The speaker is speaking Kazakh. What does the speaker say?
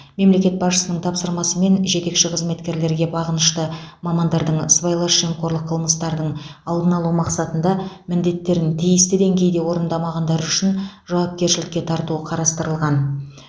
мемлекет басшысының тапсырмасымен жетекші қызметкерлерге бағынышты мамандардың сыбайлас жемқорлық қылмыстардың алдын алу мақсатында міндеттерін тиісті деңгейде орындамағандары үшін жауапкершілікке тарту қарастырылған